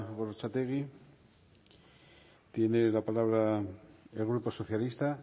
gorrotxategi tiene la palabra el grupo socialista